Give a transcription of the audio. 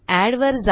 ADDवर जा